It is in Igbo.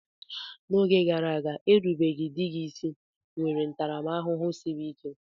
N'oge gara aga, erubeghi di gị isi nwere ntaramahụhụ siri ike.